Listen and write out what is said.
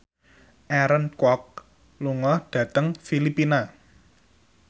Aaron Kwok lunga dhateng Filipina